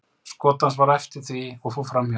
Skot hans var eftir því og fór framhjá.